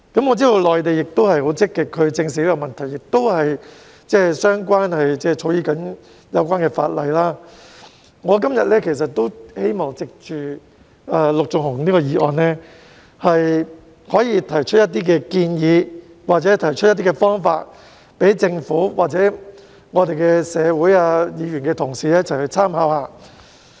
我知道內地正在積極地正視這個問題，並正草擬相關的法例，我今天亦希望藉着陸頌雄議員的議案，提出一些建議或方法，供政府、議員同事或社會大眾參考。